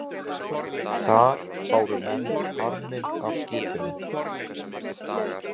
Þar báru menn farminn af skipinu.